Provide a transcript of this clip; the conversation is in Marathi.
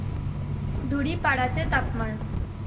धुडीपाडा चे तापमान